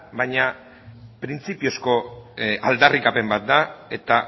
baina printzipiozko aldarrikapen bat da eta